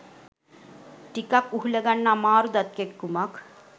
ටිකක් උහුලගන්න අමාරු දත් කැක්කුමක්.